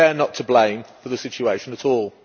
They are not to blame for the situation at all.